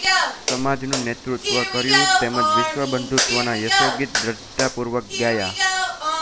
સમાજનું નેતૃત્વ કર્યું તેમજ વિશ્વબંધુત્વના યશોગીત દૃઢતાપૂર્વક ગાયાં